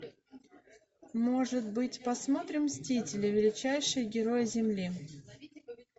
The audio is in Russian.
может быть посмотрим мстители величайшие герои земли